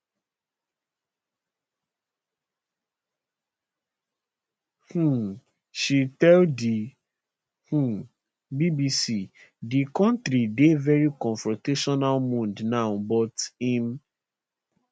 um she tell di um bbc di kontri dey veri confrontational mood now but im